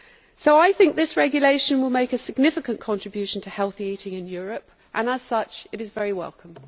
So I think this regulation will make a significant contribution to healthy eating in Europe and, as such, it is very welcome.